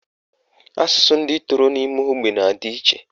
Asụsụ ndị toro n'ime ógbè na-adị iche